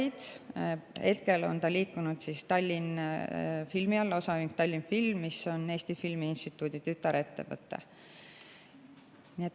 See on liikunud Tallinnfilmi alla, osaühing Tallinnfilm on Eesti Filmi Instituudi tütarettevõte.